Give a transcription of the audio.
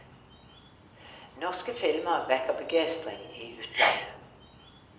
Norske filmer vekker begeistring i utlandet.